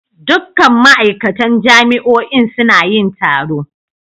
Dukkan ma'aikatan jami'o'in suna yin taro.